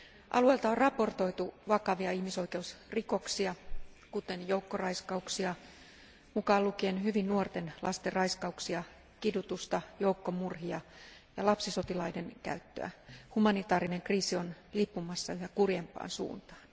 Alueelta on raportoitu vakavia ihmisoikeusrikoksia, kuten joukkoraiskauksia, mukaan lukien hyvin nuorten lasten raiskauksia, kidutusta, joukkomurhia ja lapsisotilaiden käyttöä. Humanitaarinen kriisi on lipumassa yhä kurjempaan suuntaan.